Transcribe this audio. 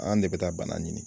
An de bɛ taa bana ɲini.